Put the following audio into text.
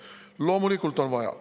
Loomulikult on vaja.